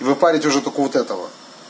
вы палите уже только вот этого